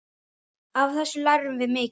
Af þessu lærðum við mikið.